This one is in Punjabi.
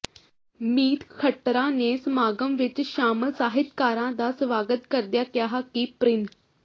ਮੀਤ ਖਟੜਾ ਨੇ ਸਮਾਗਮ ਵਿੱਚ ਸ਼ਾਮਲ ਸਾਹਿਤਕਾਰਾਂ ਦਾ ਸਵਾਗਤ ਕਰਦਿਆਂ ਕਿਹਾ ਕਿ ਪ੍ਰਿੰ